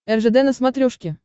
ржд на смотрешке